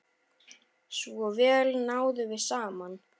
Svo vel náðum við saman.